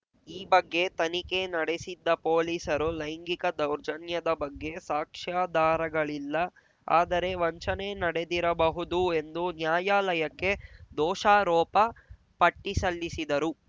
ಈ ಬಗ್ಗೆ ತನಿಖೆ ನಡೆಸಿದ್ದ ಪೊಲೀಸರು ಲೈಂಗಿಕ ದೌರ್ಜನ್ಯದ ಬಗ್ಗೆ ಸಾಕ್ಷ್ಯಾಧಾರಗಳಿಲ್ಲ ಆದರೆ ವಂಚನೆ ನಡೆದಿರಬಹುದು ಎಂದು ನ್ಯಾಯಾಲಯಕ್ಕೆ ದೋಷಾರೋಪ ಪಟ್ಟಿಸಲ್ಲಿಸಿದರು